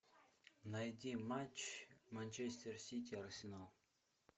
найди матч манчестер сити арсенал